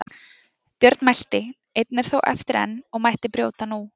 Björn mælti: Einn er þó eftir enn og mætti brjóta nú.